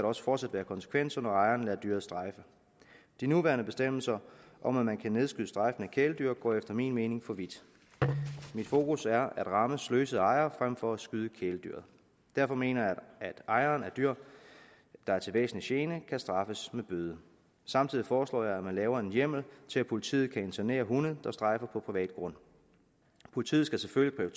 også fortsat være konsekvenser når ejeren lader dyret strejfe de nuværende bestemmelser om at man kan nedskyde strejfende kæledyr går efter min mening for vidt mit fokus er at ramme sløsede ejere frem for at skyde kæledyret derfor mener jeg at ejere af dyr der er til væsentlig gene skal kunne straffes med bøde samtidig foreslår jeg at man laver en hjemmel til at politiet kan internere hunde der strejfer på privat grund politiet skal selvfølgelig